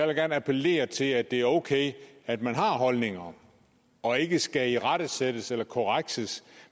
da gerne appellere til at det er okay at man har holdninger og ikke skal irettesættes eller korrekses